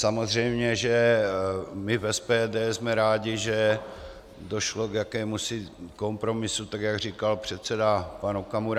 Samozřejmě že my v SPD jsme rádi, že došlo k jakémusi kompromisu, tak jak říkal předseda pan Okamura.